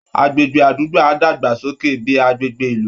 Agbègbè àdúgbò á dàgbàsókè bí i agbègbè ìlú